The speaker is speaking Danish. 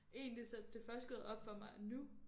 Egentlig så det er først gået op for mig nu